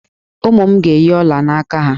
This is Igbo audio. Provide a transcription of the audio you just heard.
Ụmụ m ga-eyi ọla aka ha.